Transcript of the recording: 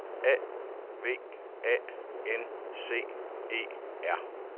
A V A N C E R